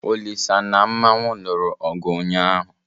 Olisa na Mmanwu lụrụ ọgụ ụnyaahụ.